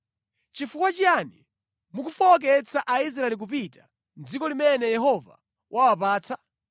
Chifukwa chiyani mukufowoketsa Aisraeli kupita mʼdziko limene Yehova wawapatsa?